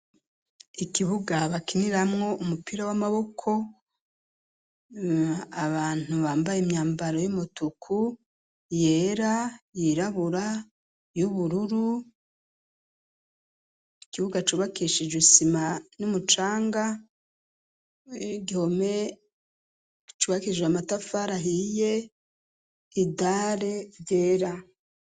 Ikibugabakiniramwo umupira w'amaboko abantu bambaye imyambaro y'umutuku yera yirabura y'ubururu ikibuga acubakeshije isima n'umucanga wegihome cwakije amatafaria ahiye idale vyera.